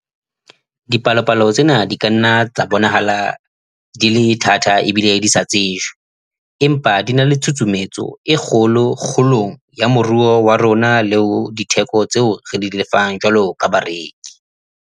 Dipalopalo tsena di ka nna tsa bonahala di le thata ebile di sa tsejwe, empa di na le tshusumetso e kgolo kgolong ya moruo wa rona le ho ditheko tseo re di lefang jwalo ka bareki.